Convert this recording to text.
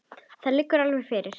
Það liggur alveg fyrir.